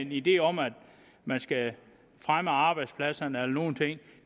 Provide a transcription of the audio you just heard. idé om at man skal fremme arbejdspladserne eller nogen ting